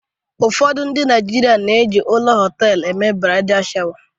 ụfọdụ ndị Naijiria na-eji ọnụ họtelu eme bradai shawa